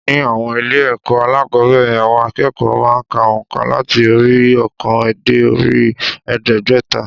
Ní àwọn ilé ẹ̀kọ́ alákòóbẹ̀rẹ̀ àwọn akẹ́kọ̀ọ́ má a n ka ònkà làti orí i óòkan dé orí i èédégbẹ́ta